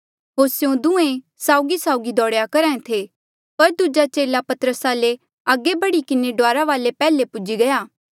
होर स्यों दुहें साउगीसाउगी दौड़ेया करहा ऐें थे पर दूजा चेला पतरसा ले अगे बढ़ी किन्हें डुआरा वाले पैहले पूजी गया